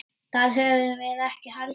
Það höfðum við ekki heldur.